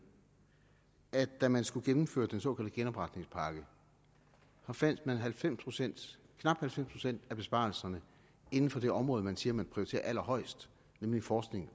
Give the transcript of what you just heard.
at da man skulle gennemføre den såkaldte genopretningspakke fandt knap halvfems procent af besparelserne inden for det område man siger man prioriterer allerhøjest nemlig forskning